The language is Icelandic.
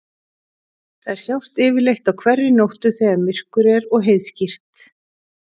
Þær sjást yfirleitt á hverri nóttu þegar myrkur er og heiðskírt.